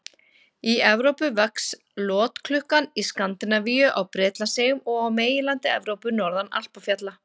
Í Evrópu vex lotklukkan í Skandinavíu, á Bretlandseyjum og á meginlandi Evrópu, norðan Alpafjalla.